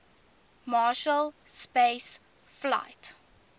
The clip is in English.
marshall space flight